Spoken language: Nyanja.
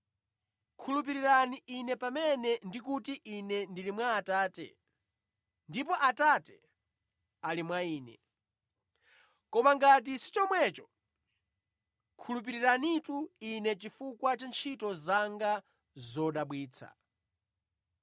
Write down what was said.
Khulupirirani Ine pamene ndi kuti Ine ndili mwa Atate ndipo Atate ali mwa Ine. Koma ngati si chomwecho, khulupiriranitu Ine chifukwa cha ntchito zanga zodabwitsa.